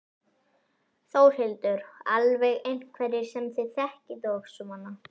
Þórhildur: Alveg einhverjir sem þið þekkið og svona?